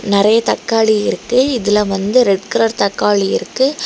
நெறைய தக்காளி இருக்கு இதுல வந்து ரெட் கலர் தக்காளி இருக்கு.